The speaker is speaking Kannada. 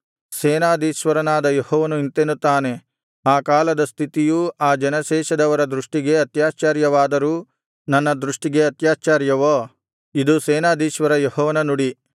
ಸೇನಾಧೀಶ್ವರನಾದ ಯೆಹೋವನು ಇಂತೆನ್ನುತ್ತಾನೆ ಆ ಕಾಲದ ಸ್ಥಿತಿಯು ಈ ಜನಶೇಷದವರ ದೃಷ್ಟಿಗೆ ಅತ್ಯಾಶ್ಚರ್ಯವಾದರೂ ನನ್ನ ದೃಷ್ಟಿಗೆ ಅತ್ಯಾಶ್ಚರ್ಯವೋ ಇದು ಸೇನಾಧೀಶ್ವರ ಯೆಹೋವನ ನುಡಿ